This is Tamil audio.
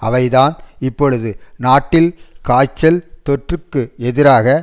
அவைதான் இப்பொழுது நாட்டில் காய்ச்சல் தொற்றுக்கு எதிராக